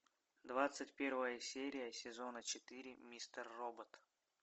двадцать первая серия сезона четыре мистер робот